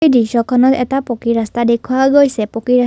এই দৃশ্যখনত এটা পকী ৰাস্তা দেখুওৱা গৈছে পকী ৰাছ--